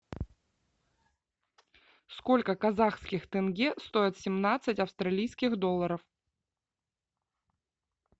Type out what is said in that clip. сколько казахских тенге стоит семнадцать австралийских долларов